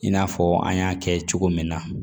I n'a fɔ an y'a kɛ cogo min na